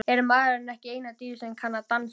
Er maðurinn ekki eina dýrið sem dansar?